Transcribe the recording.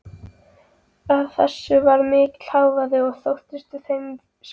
Af þessu varð mikill hávaði og það þótti þeim skemmtilegt.